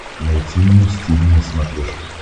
найти муз тиви на смотрешке